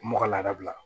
Mɔgɔ laadabila